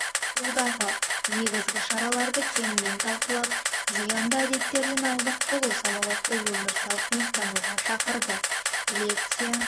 алудағы негізгі шараларды кеңінен талқылап зиянды әдеттерден аулақ болу салауатты өмір салтын ұстануға шақырды лекция